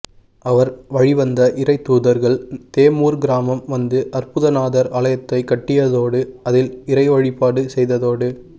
அவர் வழிவந்த இறைத் தூதர்கள் தெம்மூர் கிராமம் வந்து அற்புதநாதர் ஆலயத்தைக் கட்டியதோடு அதில் இறை வழிபாடு செய்ததோடு